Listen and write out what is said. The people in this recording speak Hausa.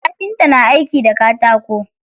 Kafinta na aiki da katako.